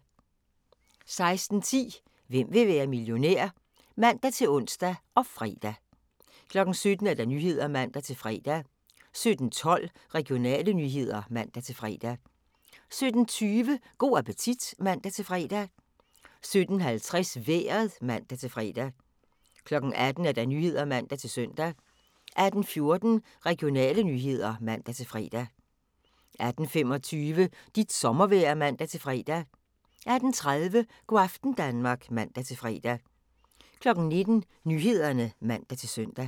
16:10: Hvem vil være millionær? (man-ons og fre) 17:00: Nyhederne (man-fre) 17:12: Regionale nyheder (man-fre) 17:20: Go' appetit (man-fre) 17:50: Vejret (man-fre) 18:00: Nyhederne (man-søn) 18:14: Regionale nyheder (man-fre) 18:25: Dit sommervejr (man-fre) 18:30: Go' aften Danmark (man-fre) 19:00: Nyhederne (man-søn)